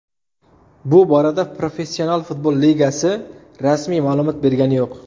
Bu borada Professional futbol Ligasi rasmiy ma’lumot bergani yo‘q.